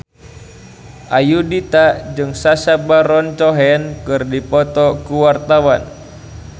Ayudhita jeung Sacha Baron Cohen keur dipoto ku wartawan